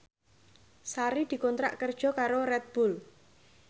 Sari dikontrak kerja karo Red Bull